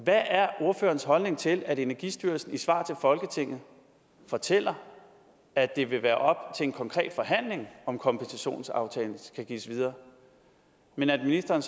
hvad er ordførerens holdning til at energistyrelsen i et svar til folketinget fortæller at det vil være op til en konkret forhandling om kompensationsaftalen skal gives videre men at ministeren